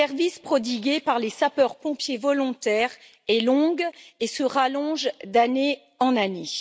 liste des services prodigués par les sapeurs pompiers volontaires est longue et se rallonge d'année en année.